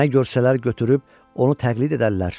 Nə görsələr götürüb onu təqlid edərlər.